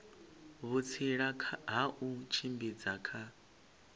vhutsila ha u tshimbidza kha